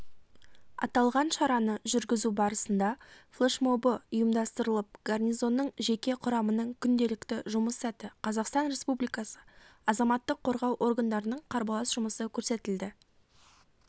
аталған шараны жүргізу барысында флешмобы ұйымдастырылып гарнизонның жеке құрамының күнделікті жұмыс сәті қазақстан республикасы азаматтық қорғау органдарының қарбалас жұмысы көрсетілді